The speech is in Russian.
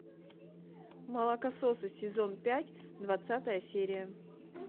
молокососы сезон пять двадцатая серия